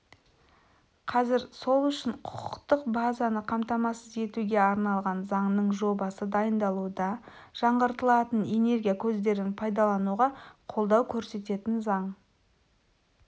қазір сол үшін құқықтық базаны қамтамасыз етуге арналған заңның жобасы дайындалуда жаңғыртылатын энергия көздерін пайдалауға қолдау көрсететін заң